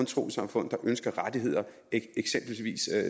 trossamfund der ønsker rettigheder eksempelvis